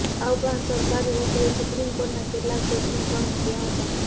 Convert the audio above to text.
આ ઉપરાંત સરકારી વકીલે સુપ્રિમ કોર્ટના કેટલાક જજમેન્ટ પણ મૂક્યાં હતા